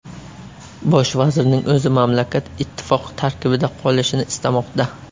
Bosh vazirning o‘zi mamlakat ittifoq tarkibida qolishini istamoqda.